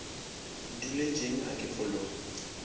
ke duletšeng a ke fologe